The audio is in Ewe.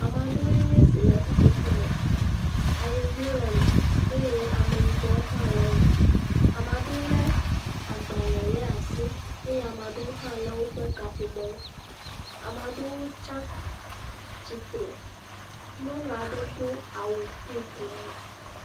Ame aɖewoe nye si le ƒuƒoƒo me.A yevuwo le me eye Ameyibɔwo hã le me. Ama ɖewo lé agbalẽ lé asi eye ama ɖewo hã lé woƒe kaƒomɔwo. Ama ɖewo tsa tsitre. Nyɔnu aɖe do awu, piŋki le me.